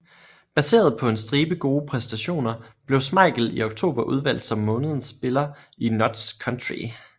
Baseret på en stribe gode præstationer blev Schmeichel i oktober udvalgt som månedens spiller i Notts County